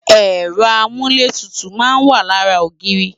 Ẹ̀rọ amúlétutù náà wa lára ogiiri